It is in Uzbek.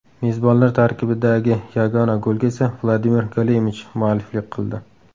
Mezbonlar tarkibidagi yagona golga esa Vladimir Golemich mualliflik qildi.